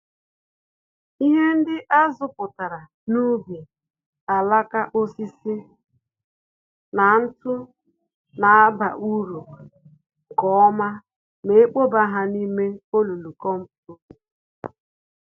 Ihe ndị azapụtara n'ubi, alaka osisi na ntụ na aba uru nke ọma ma ekpoba ha n'ime olulu kompost.